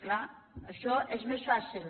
clar això és més fàcil